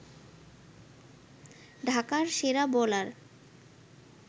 ঢাকার সেরা বোলার